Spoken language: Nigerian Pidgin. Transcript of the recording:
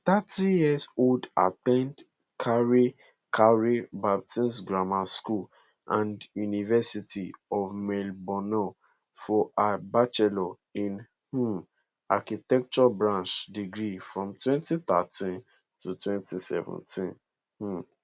di thirty yearold at ten d carey carey baptist grammar school and university of melbourne for her bachelor in um architecture barch degree from 2013 to 2017 um